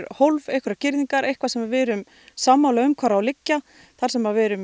hólf einhverja girðingar sem við erum sammála um hvar eigi að liggja þar sem við erum